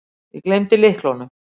Ég gleymdi lyklunum.